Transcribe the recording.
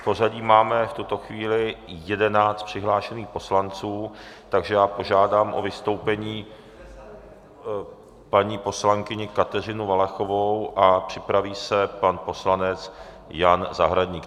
V pořadí máme v tuto chvíli 11 přihlášených poslanců, takže já požádám o vystoupení paní poslankyni Kateřinu Valachovou a připraví se pan poslanec Jan Zahradník.